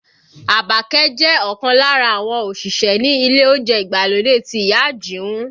Àbàkẹ́ jẹ́ ọ̀kan lára àwọn òṣìṣẹ́ ní ilé oúnjẹ ìgbàlódé ti ìyá Àjìún